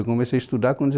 Eu comecei a estudar com